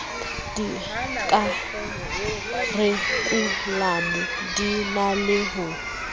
dikharikhulamo di na le ho